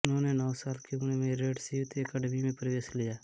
उन्होंने नौ साल की उम्र में रेड्स यूथ ऐकडमी में प्रवेश लिया